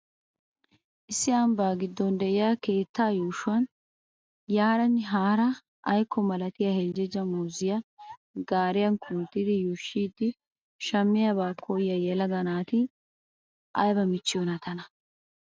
Issi ambbaa gidon de'iyaa keettaa yuushshuwan yaaranne haara aykko malatiya heljeja muuziya gaariya kunttidi yuushshidi shamiyaabaa koyiyaa yelaga naati aybba michchiyoonaa tana!